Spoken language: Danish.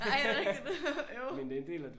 Nej er det rigtigt øv